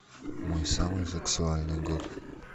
мой самый сексуальный год